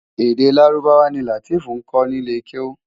Èdè Lárúbáwá ni Lateef nkò ni ilé kéwú